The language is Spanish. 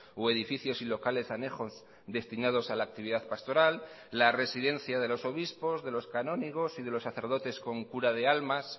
o edificios y locales anejos destinados a la actividad pastoral la residencia de los obispos de los canónigos y de los sacerdotes con cura de almas